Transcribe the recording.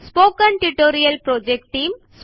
spoken tutorial project team